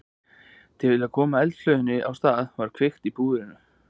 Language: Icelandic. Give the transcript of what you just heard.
Til að koma eldflauginni á stað var kveikt í púðrinu.